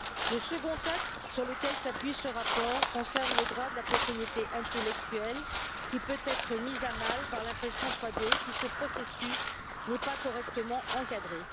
Le second texte sur lequel s'appuie ce rapport concerne le droit de la propriété intellectuelle qui peut être mis à mal par l'impression 3D si ce processus n'est pas correctement encadré.